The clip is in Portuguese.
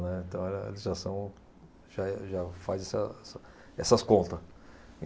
Né. Então, a le, a legislação já é, já faz essas, essas contas.